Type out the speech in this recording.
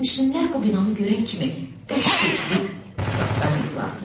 Sərnişinlər bu binanı görən kimi qəş eləyib trapdan yıxılardılar.